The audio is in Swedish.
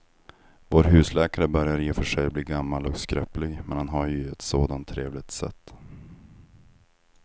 Vår husläkare börjar i och för sig bli gammal och skröplig, men han har ju ett sådant trevligt sätt!